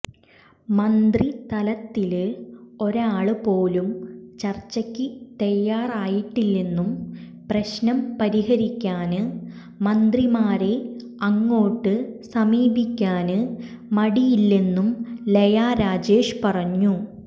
മന്ത്രിതലത്തില് ഒരാള് പോലും ചര്ച്ചയ്ക്ക് തയാറായിട്ടില്ലെന്നും പ്രശ്നം പരിഹരിക്കാന് മന്ത്രിമാരെ അങ്ങോട്ട് സമീപിക്കാന് മടിയില്ലെന്നും ലയ രാജേഷ് പറഞ്ഞു